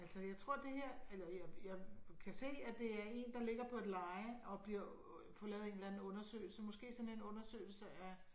Altså jeg tror det her eller jeg jeg kan se at det er en der ligger på et leje og bliver får lavet en eller anden undersøgelse måske sådan en undersøgelse af